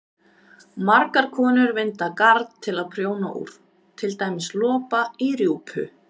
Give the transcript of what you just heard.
Margar konur vinda garn til að prjóna úr, til dæmis lopa, í rjúpu.